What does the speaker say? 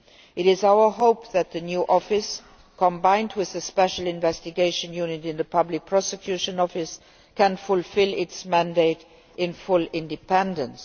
It is our hope that the new office, combined with the special investigation unit in the Public Prosecution Office, can fulfil its mandate in full independence.